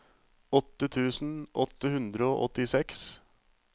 åtte tusen åtte hundre og åttiseks